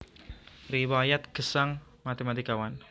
Riwayat Gesang Matématikawan